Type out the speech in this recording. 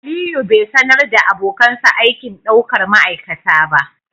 Aliyu bai sanar da abokansa aikin daukar ma'aikata ba